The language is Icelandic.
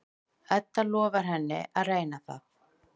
Edda lofar henni að reyna það.